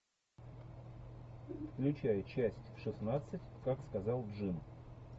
включай часть шестнадцать как сказал джим